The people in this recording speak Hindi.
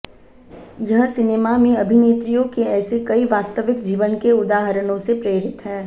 यह सिनेमा में अभिनेत्रियों के ऐसे कई वास्तविक जीवन के उदाहरणों से प्रेरित है